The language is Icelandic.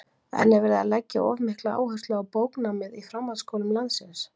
En er verið að leggja of mikla áherslu á bóknámið í framhaldsskólum landsins?